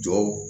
Jɔw